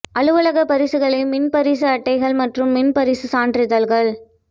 அலுவலக பரிசுகளை மின் பரிசு அட்டைகள் மற்றும் மின் பரிசு சான்றிதழ்கள்